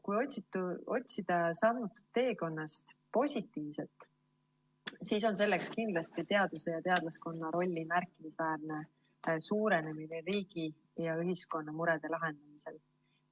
Kui otsida sammutud teekonnast positiivset, siis on selleks kindlasti teaduse ja teadlaskonna rolli märkimisväärne suurenemine riigi ja ühiskonna murede lahendamisel.